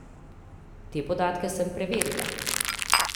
Te podatke sem preverila.